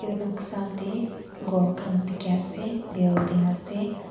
etu noksa te ghor khan dikhi ase building ase.